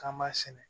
K'an b'a sɛnɛ